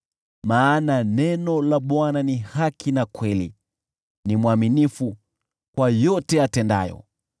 Maana neno la Bwana ni haki na kweli, ni mwaminifu kwa yote atendayo.